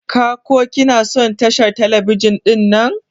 Ka/ki na son tashar telebijin dinnan?